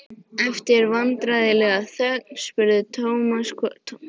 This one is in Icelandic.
Eftir vandræðalega þögn spurði Thomas hvort hann vildi eitthvað sérstakt.